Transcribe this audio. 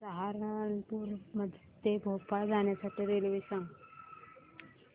सहारनपुर ते भोपाळ जाण्यासाठी रेल्वे सांग